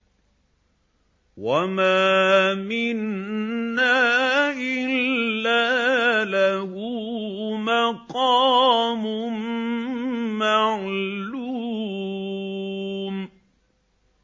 وَمَا مِنَّا إِلَّا لَهُ مَقَامٌ مَّعْلُومٌ